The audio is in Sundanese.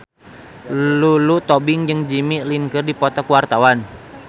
Lulu Tobing jeung Jimmy Lin keur dipoto ku wartawan